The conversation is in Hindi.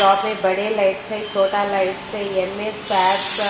काफी बड़े लाइट्स है छोटा लाइट्स है